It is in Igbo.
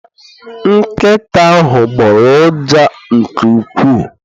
Nkịta ahụ gboro ụja nke ukwuu.